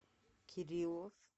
кириллов